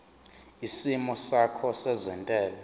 isimo sakho sezentela